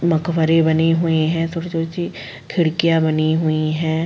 मकवरे बने हुए है। छोटी-छोटी सी खिड़कियां बनी हुई है।